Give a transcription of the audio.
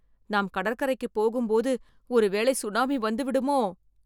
நாம் கடற்கரைக்கு போகும் போது ஒருவேளை சுனாமி வந்துவிடுமோ..